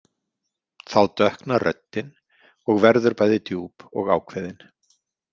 Þá dökknar röddin og verður bæði djúp og ákveðin.